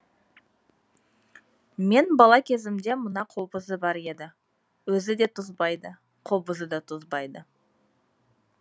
мен бала кезімде мына қобызы бар еді өзі де тозбайды қобызы да тозбайды